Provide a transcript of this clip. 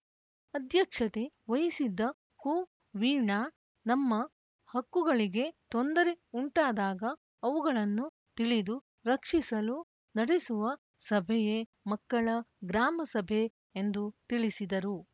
ಅಧ್ಯಕ್ಷತೆ ವಹಿಸಿದ್ದ ಕುವೀಣಾ ನಮ್ಮ ಹಕ್ಕುಗಳಿಗೆ ತೊಂದರೆ ಉಂಟಾದಾಗ ಅವುಗಳನ್ನು ತಿಳಿದು ರಕ್ಷಿಸಲು ನಡೆಸುವ ಸಭೆಯೇ ಮಕ್ಕಳ ಗ್ರಾಮಸಭೆ ಎಂದುತಿಳಿಸಿದರು